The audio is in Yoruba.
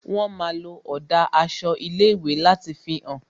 Wón máa ń lo ọ̀dà aṣọ ilé ìwé láti fi hàn